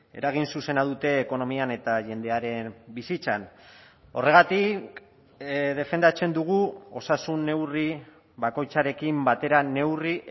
eragin zuzena dute ekonomian eta jendearen bizitzan horregatik defendatzen dugu osasun neurri bakoitzarekin batera neurri